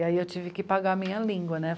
E aí eu tive que pagar a minha língua, né?